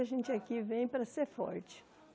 A gente aqui vem para ser forte.